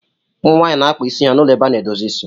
ụmụ nwaanyị na-akpa isi ha na ụlọ ebe a na-edozi isi